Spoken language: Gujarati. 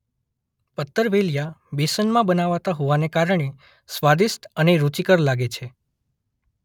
પત્તરવેલીયાં બેસનમાં બનાવાતાં હોવાને કારણે સ્વદિષ્ટ અને રુચિકર લાગે છે